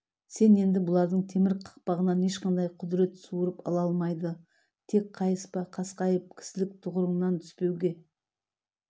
сен енді бұлардың темір қақпанынан ешқандай құдірет суырып ала алмайды тек қайыспа қасқайып кісілік тұғырыңнан түспеуге